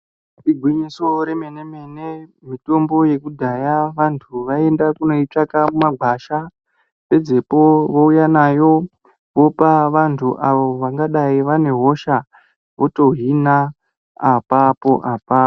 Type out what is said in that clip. Igwinyiso remene-mene mitombo yekudhaya vantu vaienda kundoitsvaka mumagwasha pedzepo vouya nayo vopa vantu avo vangadai vane hosha votohina apapo apapo.